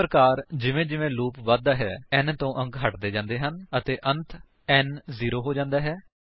ਇਸ ਪ੍ਰਕਾਰ ਜਿਵੇਂ ਜਿਵੇਂ ਲੂਪ ਵਧਦਾ ਜਾਂਦਾ ਹੈ n ਤੋਂ ਅੰਕ ਹਟਦੇ ਜਾਂਦੇ ਹਨ ਅਤੇ ਅੰਤ n ਜੀਰੋ ਹੋ ਜਾਂਦਾ ਹੈ